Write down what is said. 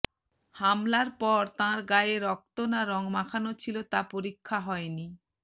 হামলার পর তাঁর গায়ে রক্ত না রং মাখানো ছিল তা পরীক্ষা হয়নি